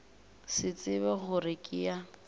se tsebe gore ke ya